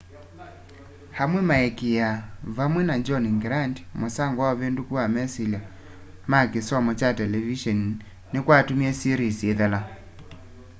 amwe nimaikiaa vamwe na john grant musango na uvinduku wa mesilya ma kisomo kya televiseni nikwatumie series ithela